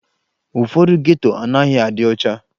Ụfọdụ geto anaghị adị ọcha